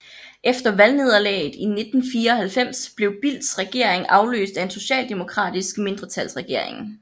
Efter valgnederlaget i 1994 blev Bildts regering afløst af en socialdemokratisk mindretalsregering